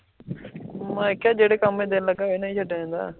ਮਈ ਕਿਹਾ, ਜੇਡੇ ਕੰਮ ਏਚ ਦਿਲ ਲੱਗਾ